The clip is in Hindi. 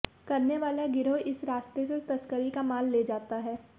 करने वाला गिरोह इस रास्ते से तस्करी का माल ले जाता है